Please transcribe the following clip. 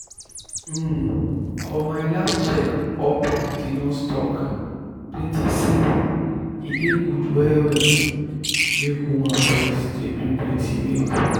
um for my last check up the nurse talk plenty say e dey good well well make women breast dey bring plenty milk.